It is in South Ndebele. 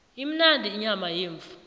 imnandi inyama yemvu